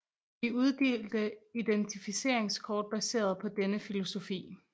De uddelte identificeringskort baseret på denne filosofi